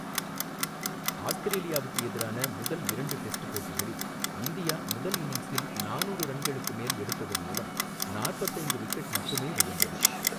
ஆஸ்திரேலியாவுக்கு எதிரான முதல் இரண்டு டெஸ்ட் போட்டிகளில் இந்தியா முதல் இன்னிங்ஸில் நானூறு ரன்களுக்கு மேல் எடுத்ததன் மூலம் நாற்பத்து ஐந்து விக்கெட் மட்டுமே விழுந்தது.